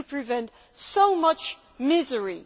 We could prevent so much misery.